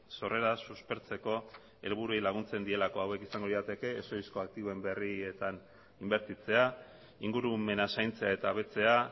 sorrera suspertzeko helburuei laguntzen dielako hauek izango lirateke ez ohizko aktibo berrietan inbertitzea ingurumena zaintzea eta hobetzea